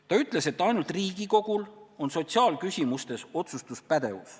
Ta ütles, et ainult Riigikogul on sotsiaalküsimustes otsustuspädevus.